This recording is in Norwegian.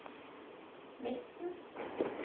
midten